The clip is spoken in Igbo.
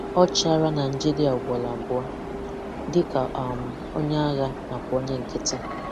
Ọ chịala Nigeria ugboro abụọ: dịka um onye agha na kwa onye nkịtị